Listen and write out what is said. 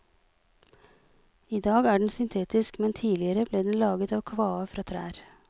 I dag er den syntetisk, men tidligere ble den laget av kvae fra trær.